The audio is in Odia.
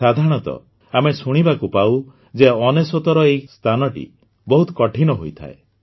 ସାଧାରଣତଃ ଆମେ ଶୁଣିବାକୁ ପାଉଁ ଯେ ୯୯ର ଏହି ସ୍ଥାନଟି ବହୁତ କଠିନ ହୋଇଥାଏ